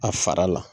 A fara la